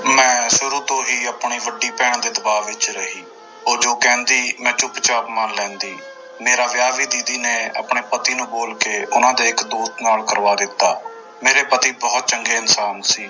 ਮੈਂ ਸ਼ੁਰੂ ਤੋਂ ਹੀ ਆਪਣੀ ਵੱਡੀ ਭੈਣ ਦੇ ਦਬਾਅ ਵਿੱਚ ਰਹੀ ਉਹ ਜੋ ਕਹਿੰਦੀ ਮੈਂ ਚੁੱਪਚਾਪ ਮੰਨ ਲੈਂਦੀ ਮੇਰਾ ਵਿਆਹ ਵੀ ਦੀਦੀ ਨੇ ਆਪਣੇੇ ਪਤੀ ਨੂੰ ਬੋਲ ਕੇ ਉਹਨਾਂ ਦੇ ਇੱਕ ਦੋਸਤ ਨਾਲ ਕਰਵਾ ਦਿੱਤਾ ਮੇਰੇ ਪਤੀ ਬਹੁਤ ਚੰਗੇ ਇਨਸਾਨ ਸੀ।